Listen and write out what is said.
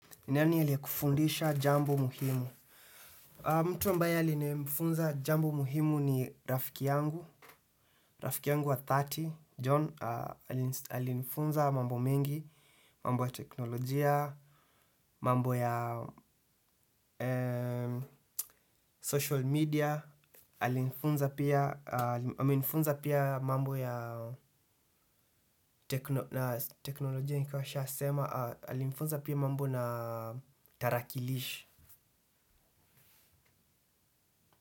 Nani aliyekufundisha jambo muhimu? Mtu ambaye alinifunza jambo muhimu ni rafiki yangu. Rafiki yangu wa dhati, John, alinifunza mambo mengi, mambo ya teknolojia, mambo ya social media alinifunza. Amenifunza pia mambo ya teknolojia nilikuwa nishasema alinifunza pia mambo na tarakilishi.